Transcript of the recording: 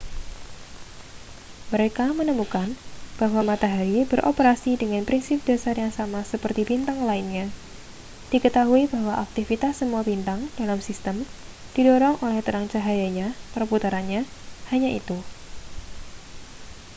mereka menemukan bahwa matahari beroperasi dengan prinsip dasar yang sama seperti bintang lainnya diketahui bahwa aktivitas semua bintang dalam sistem didorong oleh terang cahayanya perputarannya hanya itu